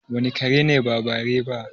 Wane kare ne ba bare ba?